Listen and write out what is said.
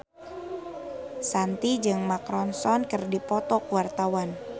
Shanti jeung Mark Ronson keur dipoto ku wartawan